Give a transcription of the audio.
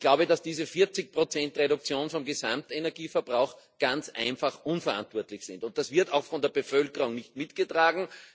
Ich glaube, dass diese 40ige Reduktion des Gesamtenergieverbrauchs ganz einfach unverantwortlich ist, und das wird auch von der Bevölkerung nicht mitgetragen.